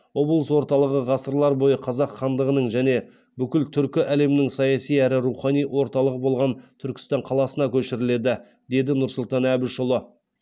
облыс орталығы ғасырлар бойы қазақ хандығының және бүкіл түркі әлемінің саяси әрі рухани орталығы болған түркістан қаласына көшіріледі деді нұрсұлтан әбішұлы